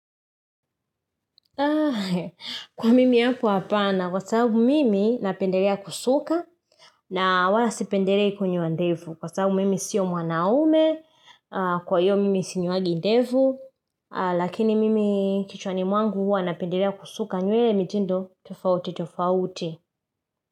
Kwa mimi yako hapa na kwa sababu mimi napendelea kusuka na wala sipendelei konyoa ndevu. Kwa sababu mimi siyo mwanaume, kwa hiyo mimi sinyoangi ndevu, lakini mimi kichwani mwangu huwa napendelea kusuka nywele mitindo tofauti tofauti.